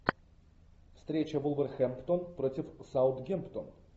встреча вулверхэмптон против саутгемптон